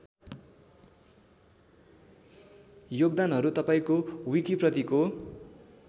योगदानहरू तपाईँको विकिप्रतिको